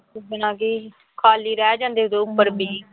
ਖਾਲੀ ਰਹਿ ਜਾਂਦੇ ਦੋ ਉੱਪਰ ਬੀਅ